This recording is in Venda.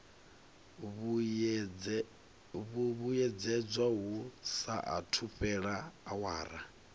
vhuyedzedzwa hu saathu fhela awara